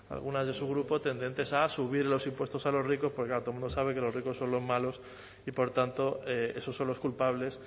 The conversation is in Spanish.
algunas de su grupo tendentes a subir los impuestos a los ricos porque todo el mundo sabe que los ricos son los malos y por tanto esos son los culpables